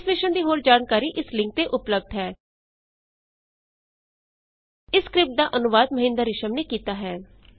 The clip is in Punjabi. ਇਸ ਮਿਸ਼ਨ ਦੀ ਹੋਰ ਜਾਣਕਾਰੀ ਇਸ ਲਿੰਕ ਤੇ ਉਪਲੱਭਦ ਹੈ httpspoken tutorialorgNMEICT Intro ਇਸ ਸਕਰਿਪਟ ਦਾ ਅਨੁਵਾਦ ਮਹਿੰਦਰ ਰਿਸ਼ਮ ਨੇ ਕੀਤਾ ਹੈ